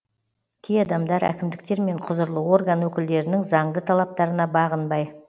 кей адамдар әкімдіктер мен құзырлы орган өкілдерінің заңды талаптарына бағынбай